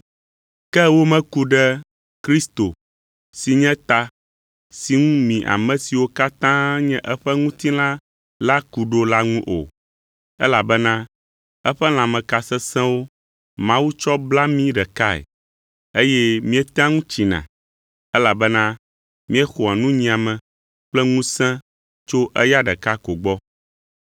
Ke womeku ɖe Kristo si nye ta si ŋu mi ame siwo katã nye eƒe ŋutilã la ku ɖo la ŋu o, elabena eƒe lãmeka sesẽwo Mawu tsɔ bla mí ɖekae, eye míetea ŋu tsina, elabena míexɔa nunyiame kple ŋusẽ tso eya ɖeka ko gbɔ.